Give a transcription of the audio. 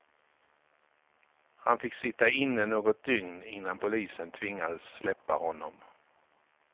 Han fick sitta inne något dygn innan polisen tvingades släppa honom.